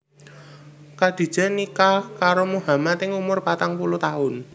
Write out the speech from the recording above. Khadijah nikah karo Muhammad ing umur patang puluh taun